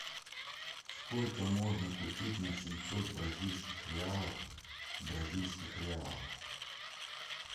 сколько можно купить на семьсот бразильских реалов бразильских реалов